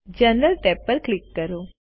હવે general tab પર click કરો